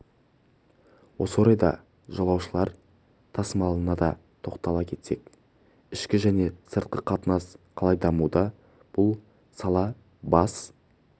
осы орайда жолаушылар тасымалына да тоқтала кетсек ішкі және сыртқы қатынас қалай дамуда бұл сала бас